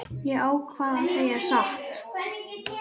Ég ákvað að segja satt.